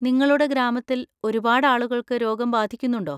നിങ്ങളുടെ ഗ്രാമത്തിൽ ഒരുപാട് ആളുകൾക്ക് രോഗം ബാധിക്കുന്നുണ്ടോ?